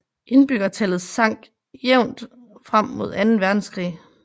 Indbyggertallet sank jævnt frem mod anden verdenskrig